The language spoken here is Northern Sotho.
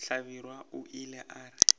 hlabirwa o ile a re